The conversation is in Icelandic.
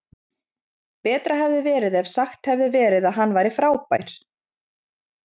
Betra hefði verið ef sagt hefði verið að hann væri frábær.